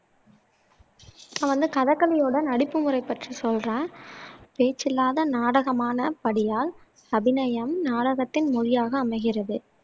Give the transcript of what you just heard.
நான் வந்து கதகளியோட நடிப்பு முறை பற்றி சொல்றேன் பேச்சில்லாத நாடகமான படியால் அபிநயம் நாடகத்தின் மொழியாக அமைகிறது